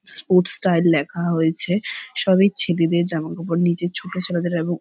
Sport style লেখা হয়েছে সবই ছেলেদের জামা কাপড় নিচে ছোট ছেলেদের এবং।